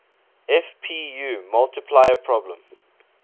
fpu multiplier problem